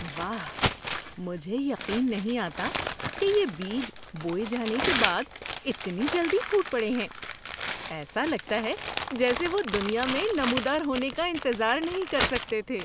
واہ، مجھے یقین نہیں آتا کہ یہ بیج بوئے جانے کے بعد اتنی جلدی پھوٹ پڑے ہیں۔ ایسا لگتا ہے جیسے وہ دنیا میں نمودار ہونے کا انتظار نہیں کر سکتے تھے!